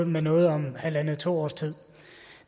med noget om halvandet til to års tid